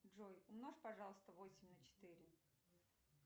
джой умножь пожалуйста восемь на четыре